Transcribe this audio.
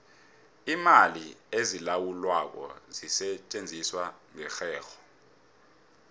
iimali ezilawulwako zisetjenziswa ngerherho